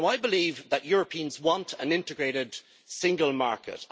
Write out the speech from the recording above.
I believe that Europeans want an integrated single market.